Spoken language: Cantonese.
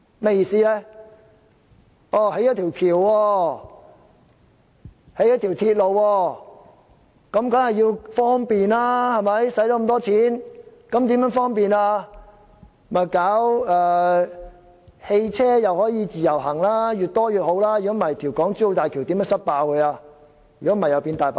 花了這麼多錢興建一條橋、一條鐵路，當然是要方便，於是便推行汽車的"自由行"，越多越好，否則如何能"塞爆"港珠澳大橋，以免成為"大白象"？